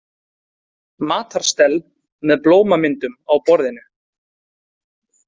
Matarstell með blómamyndum á borðinu.